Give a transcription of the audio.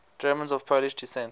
germans of polish descent